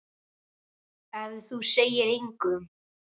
Ef þú segir engum.